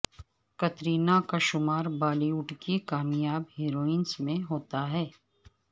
کترینہ کا شمار بالی ووڈ کی کامیاب ہیروئنز میں ہوتا ہے